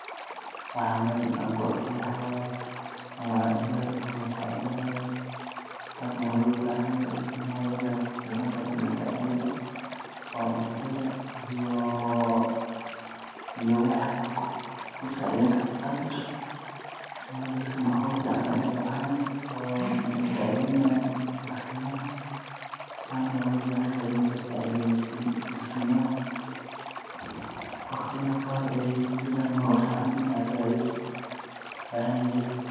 Waxa meshan AA ku arkoh maxawaye wa ilma yar o lasacetheyni hayo, taas wa lo bahanyahay ilmaha ini lasacetheyoh oo cuntaha iyo wixi AA kusaceyni kartoh AA sesoh, wayo dadka waxoot nacayan Aya sacetnayan maskimaha taana walobahanyahay ini lasacetheyoh maskimaha, waqdiyatha Qaar aykujiran nolosha sacethes Aya lobahanyahy.